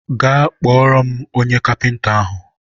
gaa kpọrọ m onye kapịnta ahụ!